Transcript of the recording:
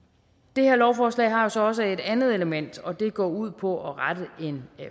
det her lovforslag har jo så også et andet element og det går ud på at rette en